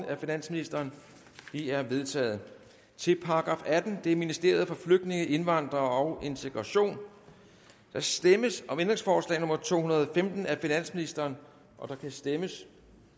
af finansministeren de er vedtaget til § attende ministeriet for flygtninge indvandrere og integration der stemmes om ændringsforslag nummer to hundrede og femten af finansministeren der kan stemmes